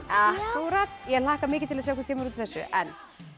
ég hlakka mikið til að sjá hvað kemur út úr þessu en